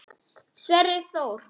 Sverrir Þór.